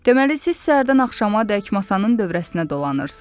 Deməli, siz səhərdən axşamadək masanın dövrəsinə dolanırsız.